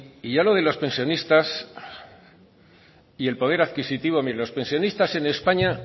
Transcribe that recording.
y ya lo de los pensionistas y el poder adquisitivo mire los pensionistas en españa